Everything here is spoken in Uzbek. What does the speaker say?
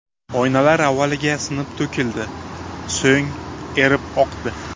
Oynalar avvaliga sinib to‘kildi, so‘ng erib oqdi.